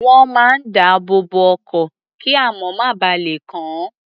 Wọ́n máa ń dáàbò bo ọkọ̀, kíamọ̀ má ba lè kàn án.